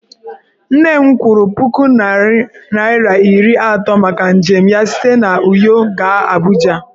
Nne m kwụrụ puku naira iri atọ maka njem ya site n'Uyo gaa Abuja.